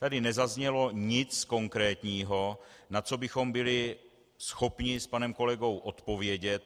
Tady nezaznělo nic konkrétního, na co bychom byli schopni s panem kolegou odpovědět.